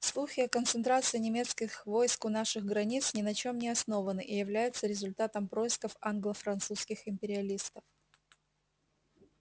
слухи о концентрации немецких войск у наших границ ни на чём не основаны и являются результатом происков англо-французских империалистов